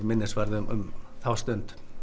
minnisvarði um þá stund